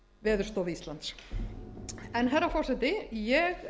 veðurstofu íslands herra forseti ég